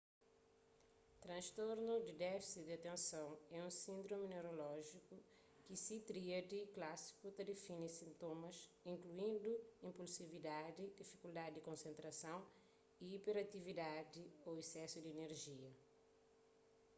transtornu di défisi di atenson é un síndromi neurolójiku ki se tríadi klásiku ta defini sintomas inkluindu inpulsividadi difikuldadi di konsentrason y iperatividadi ô isesu di inerjia